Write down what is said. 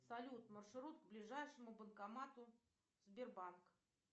салют маршрут к ближайшему банкомату сбербанк